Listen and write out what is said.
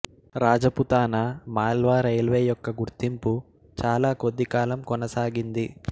Rajputana Malwa railway యొక్క గుర్తింపు చాలా కొద్దికాలం కొనసాగింది